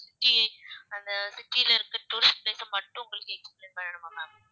அந்த city ல இருந்து tourist place அ மட்டும் உங்களுக்கு வேணுமா ma'am